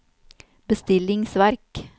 bestillingsverk